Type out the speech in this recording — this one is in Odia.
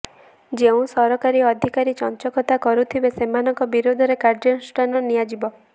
ଯେଉଁ ସରକାରୀ ଅଧିକାରୀ ଚଂଚକତା କରୁଥିବେ ସେମାନଙ୍କ ବିରୋଧରେ କାର୍ଯ୍ୟାନୁଷ୍ଠାନ ନିଆଯିବ